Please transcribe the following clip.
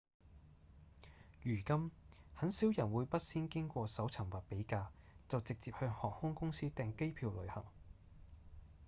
如今很少人會不先經過搜尋或比價就直接向航空公司訂機票旅行